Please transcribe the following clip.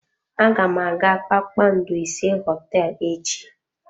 Aga m aga kpakpando ise hoteelu echi.